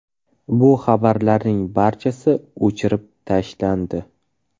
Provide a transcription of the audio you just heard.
Bu xabarlarning barchasi o‘chirib tashlandi.